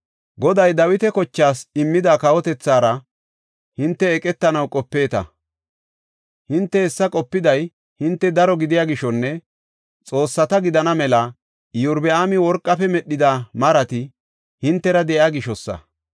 “Goday Dawita kochaas immida kawotethaara hinte eqetanaw qopeeta. Hinte hessa qopiday hinte daro gidiya gishonne xoossata gidana mela Iyorbaami worqafe medhida marati hintera de7iya gishosa.